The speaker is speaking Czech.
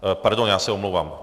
Pardon, já se omlouvám.